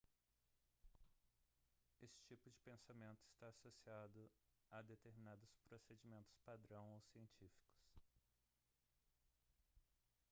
esse tipo de pensamento está associado a determinados procedimentos padrão ou científicos